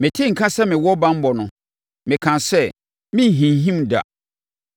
Metee nka sɛ mewɔ banbɔ no, mekaa sɛ, “Merenhinhim da.”